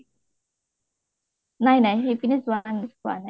নাই নাই, সেইপিনে যোৱা নাই যোৱা নাই